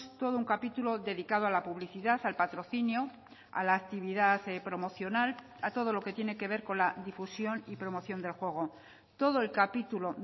todo un capítulo dedicado a la publicidad al patrocinio a la actividad promocional a todo lo que tiene que ver con la difusión y promoción del juego todo el capítulo